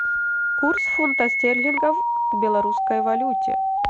курс фунта стерлингов в белорусской валюте